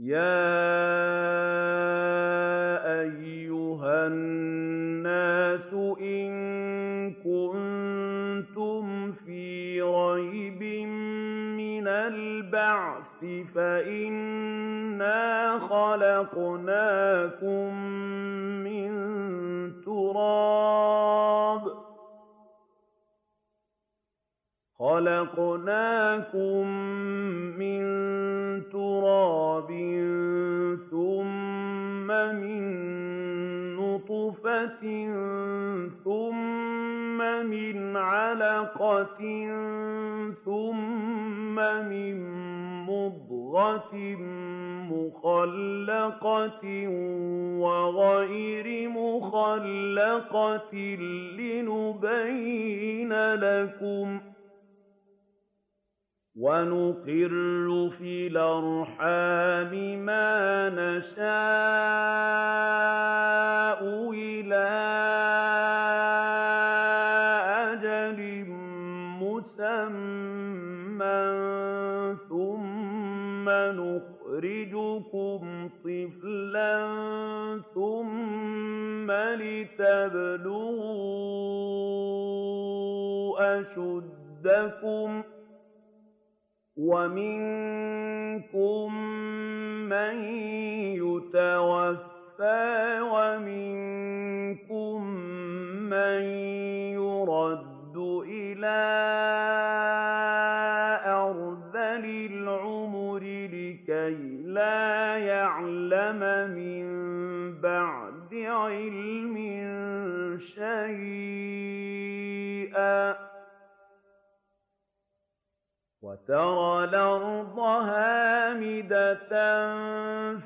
يَا أَيُّهَا النَّاسُ إِن كُنتُمْ فِي رَيْبٍ مِّنَ الْبَعْثِ فَإِنَّا خَلَقْنَاكُم مِّن تُرَابٍ ثُمَّ مِن نُّطْفَةٍ ثُمَّ مِنْ عَلَقَةٍ ثُمَّ مِن مُّضْغَةٍ مُّخَلَّقَةٍ وَغَيْرِ مُخَلَّقَةٍ لِّنُبَيِّنَ لَكُمْ ۚ وَنُقِرُّ فِي الْأَرْحَامِ مَا نَشَاءُ إِلَىٰ أَجَلٍ مُّسَمًّى ثُمَّ نُخْرِجُكُمْ طِفْلًا ثُمَّ لِتَبْلُغُوا أَشُدَّكُمْ ۖ وَمِنكُم مَّن يُتَوَفَّىٰ وَمِنكُم مَّن يُرَدُّ إِلَىٰ أَرْذَلِ الْعُمُرِ لِكَيْلَا يَعْلَمَ مِن بَعْدِ عِلْمٍ شَيْئًا ۚ وَتَرَى الْأَرْضَ هَامِدَةً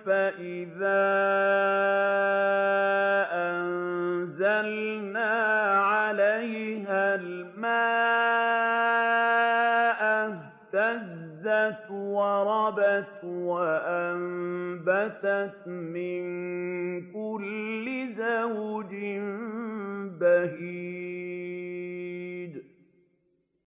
فَإِذَا أَنزَلْنَا عَلَيْهَا الْمَاءَ اهْتَزَّتْ وَرَبَتْ وَأَنبَتَتْ مِن كُلِّ زَوْجٍ بَهِيجٍ